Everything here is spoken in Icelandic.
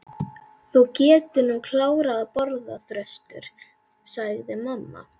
Þú getur nú klárað að borða, Þröstur, sagði mamma.